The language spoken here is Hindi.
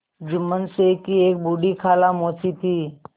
जुम्मन शेख की एक बूढ़ी खाला मौसी थी